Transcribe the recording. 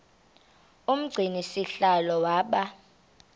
umgcini sihlalo waba